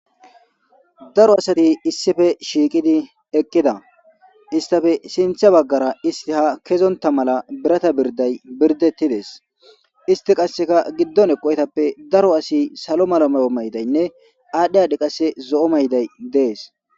Daro asat issippe shiqid eqida . Issitappe sinthe bagara ist ha kezinta mala birata birday birdetides. Ist qase gidon eqoytappe daro asiy salo mala mayidaynne adhi adhi qase zo'o mayiday Des.